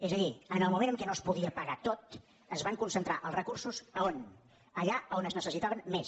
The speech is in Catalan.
és a dir en el moment en què no es podia pagar tot es van concentrar els recursos a on allà on es necessitaven més